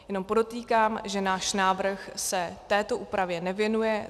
Jenom podotýkám, že náš návrh se této úpravě nevěnuje.